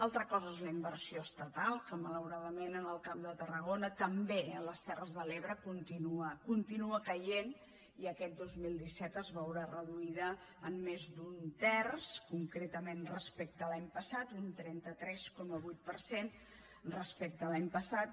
altra cosa és la inversió estatal que malauradament en el camp de tarragona també en les terres de l’ebre continua continua caient i aquest dos mil disset es veurà reduïda en més d’un terç concretament respecte a l’any passat un trenta tres coma vuit per cent respecte a l’any passat